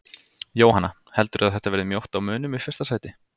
Jóhanna: Heldurðu að þetta verði mjótt á mununum í fyrsta sæti?